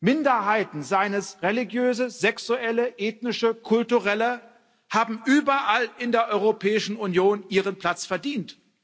Minderheiten, seien es religiöse, sexuelle, ethnische, kulturelle, haben überall in der Europäischen Union ihren Platz verdient.